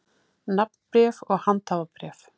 Nafnbréf og handhafabréf.